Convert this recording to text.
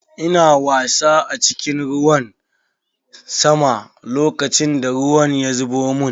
Ina wasa a cikin ruwan sama lokacin da ruwan ya zubo mun.